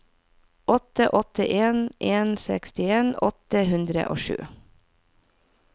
åtte åtte en en sekstien åtte hundre og sju